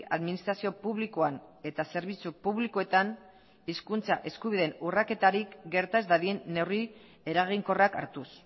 administrazio publikoan eta zerbitzu publikoetan hizkuntza eskubideen urraketarik gerta ez dadin neurri eraginkorrak hartuz